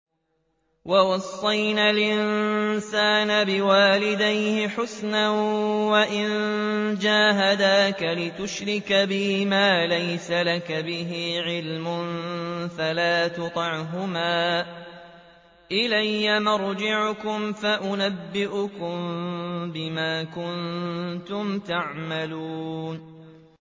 وَوَصَّيْنَا الْإِنسَانَ بِوَالِدَيْهِ حُسْنًا ۖ وَإِن جَاهَدَاكَ لِتُشْرِكَ بِي مَا لَيْسَ لَكَ بِهِ عِلْمٌ فَلَا تُطِعْهُمَا ۚ إِلَيَّ مَرْجِعُكُمْ فَأُنَبِّئُكُم بِمَا كُنتُمْ تَعْمَلُونَ